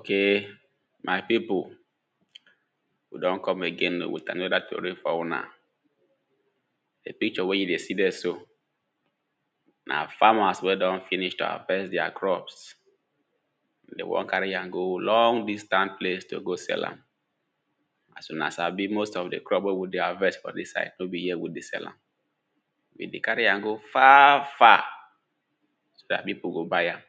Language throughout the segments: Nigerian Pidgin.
Ok my pipu we don come again with another tori for una. Di picture wey you dey see dere so, na farmers wey don finish to harvest deir crops, de wan carry am go long distance place to go sell am. So na as I be most of di crops wey we dey harvest for dis side no be here we dey sell am. De dey carry am go far far so dat pipo go buy am,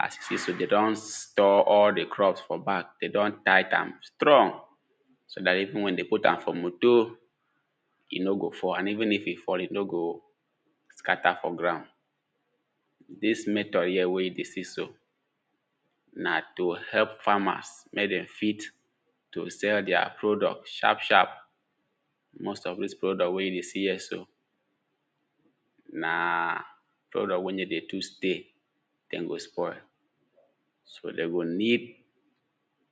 as you see so, de don store all di crops for bag, de don tight am strong so dat even when de put am for motor e no go fall, and even if e fall, e no scatter for ground, dis method here wey you dey see so na to help farmers mey dem fit to sell deir product sharp sharp. Most of dis product wey you dey see here so, na product wey no dey too stay dem go spoil, so de go need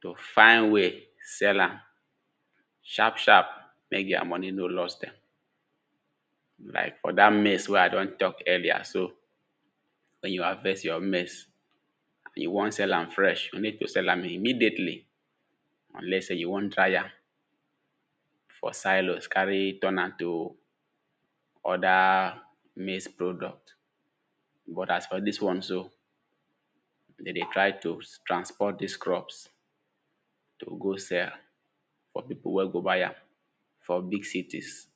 to find way, sell am sharp sharp mek deir money no loss dem. Like for dat means wey I don tok earlier so, when you harvest your maize, if you wan sell am fresh you need to sell am immediately, unless sey you wan dry am for silos carry turn am to other maize product, but as for dis one so, de dey try to transport dis crops to go sell for pipo wey go buy am for big cities.